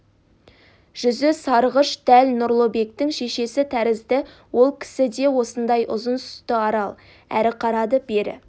жүзі сарғыш дәл нұрлыбектің шешесі тәрізді ол кісі де осындай ұзын сұсты арал әрі қарады бері